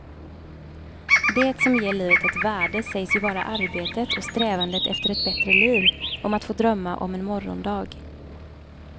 Det som ger livet ett värde sägs ju vara arbetet och strävandet efter ett bättre liv, om att få drömma om en morgondag.